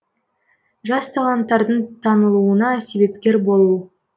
жас таланттардың танылуына себепкер болу